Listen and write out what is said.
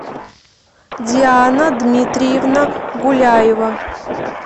диана дмитриевна гуляева